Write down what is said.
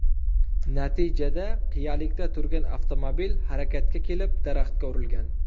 Natijada qiyalikda turgan avtomobil harakatga kelib, daraxtga urilgan.